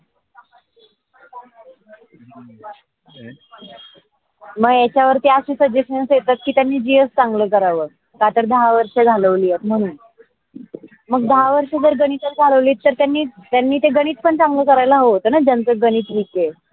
मंग येच्यावर ती असे suggestion येतात कि त्यांनी gs चांगलं करावं का तर दहा वर्षं घालवली म्हणून. मग दहा वर्षं जर गणित चालवली तर त्यांनी त्यांनी ते गणित पण चांगल करायेला हव होतन ज्याचं गणित weak आहे.